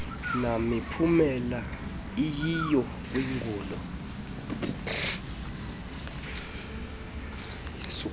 namiphumela iyiyo kwingulo